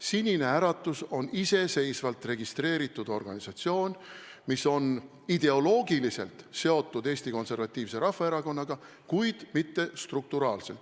Sinine Äratus on iseseisvalt registreeritud organisatsioon, mis on ideoloogiliselt seotud Eesti Konservatiivse Rahvaerakonnaga, kuid mitte struktuuriliselt.